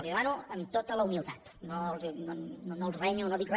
li ho demano amb tota la humilitat no els renyo no dic re